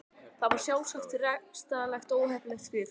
Þetta þykja sjálfsagt rekstrarlega óheppileg skrif.